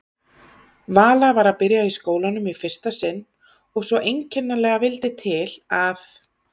Vala var að byrja í skólanum í fyrsta sinn og svo einkennilega vildi til að